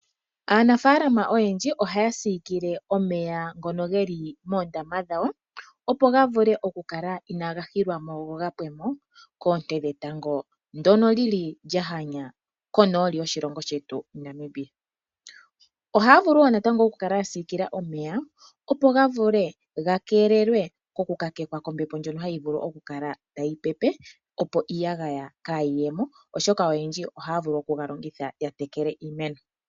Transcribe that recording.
Aanafaalama oyendji ohaya siikile oomeya ngoka geli moondama dhawo opo gavule okukala inaga hilwa mo go gapwemo koonte dhetango ndoka li li lyahanya konooli yoshilongo shetu Namibia. Ohaya vulu wo natango okukala yasiikila omeya opo gavule okukala gakelelwa oku kakekwa koombepo ndyoka tayi pepe opo iiyagaya kayiye mo oshoka oyendji ohaya vulu oku galongitha yatekele iimeno.